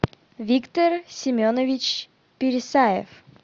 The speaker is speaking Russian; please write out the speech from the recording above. виктор семенович пересаев